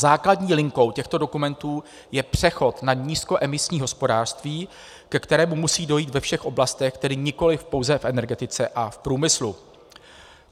Základní linkou těchto dokumentů je přechod na nízkoemisní hospodářství, ke kterému musí dojít ve všech oblastech, tedy nikoliv pouze v energetice a v průmyslu.